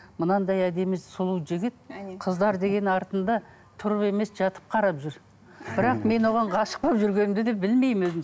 мынандай әдемі сұлу жігіт қыздар деген артында тұрып емес жатып қарап жүр бірақ мен оған ғашық болып жүргенімді де білмеймін өзім